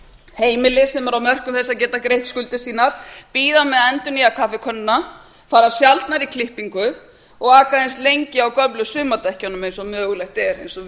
heimili sem eru á mörkum þess að geta greitt skuldir sínar bíða eð a endurnýja kaffikönnuna fara sjaldnar í klippingu og aka eins lengi á gömlu sumardekkjunum eins og mögulegt er eins og